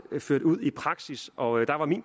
ført ud i praksis og